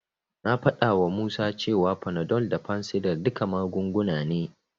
Na faɗawa Musa cewa Panadol da fansidar duka magunguna ne.